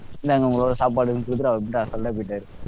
இந்தாங்க உங்களுடைய சாப்பாடுனு கொடுத்திட்டு அவர் பாட்டுன்னு assault ஆ போயிட்டாரு